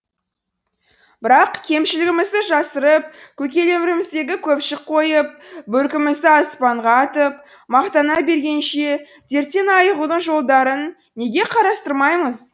бірақ кемшілігімізді жасырып көкелерімізді көпшік қойып бөркімізді аспанға атып мақтана бергенше дерттен айығудың жолдарын неге қарастырмаймыз